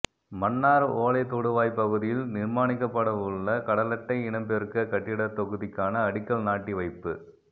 மன்னார் ஓலைத்தொடுவாய் பகுதியில் நிர்மானிக்கப்படவுள்ள கடலட்டை இனப்பெருக்க கட்டிடத்தொகுதிக்கான அடிக்கல் நாட்டி வைப்பு